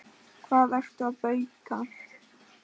Hvað ertu að bauka?